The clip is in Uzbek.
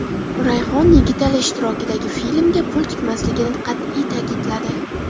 Rayhon Yigitali ishtirokidagi filmga pul tikmasligini qat’iy ta’kidladi.